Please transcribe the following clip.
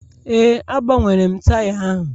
Ee, agbanwere m taya ahụ